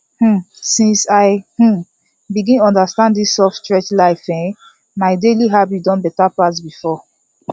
um since i um begin understand this soft stretch life um my daily habit don better pass before